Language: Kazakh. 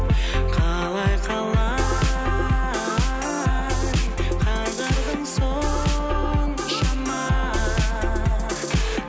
қалай қалай қайғырдың соншама